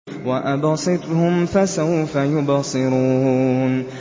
وَأَبْصِرْهُمْ فَسَوْفَ يُبْصِرُونَ